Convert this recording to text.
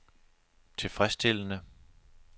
tilfredsstillende